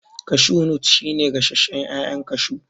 Kashu nut shi ne gasashen ƴaƴan kashu